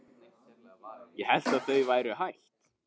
Ég hélt að þau væru hætt.